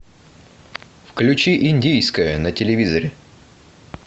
включи индийское на телевизоре